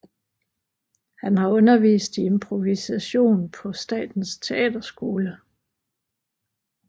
Han har undervist i improvisation på Statens Teaterskole